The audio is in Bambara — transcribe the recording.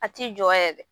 A t'i jɔ yɛrɛ